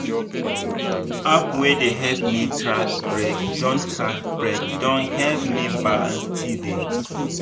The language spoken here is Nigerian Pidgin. app wey dey help me track break don track break don help me balance steady.